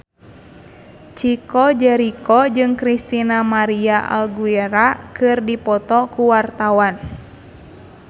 Chico Jericho jeung Christina María Aguilera keur dipoto ku wartawan